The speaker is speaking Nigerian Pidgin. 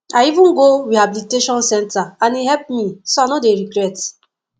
i even go rehabilitation center and e help me so i no dey regret